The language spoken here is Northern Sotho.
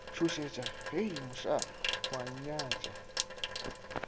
tšhošetša hei mošaa o nnyatša